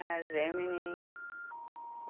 É, Gemini.